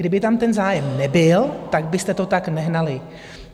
Kdyby tam ten zájem nebyl, tak byste to tak nehnali.